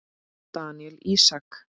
Daníel Ísak.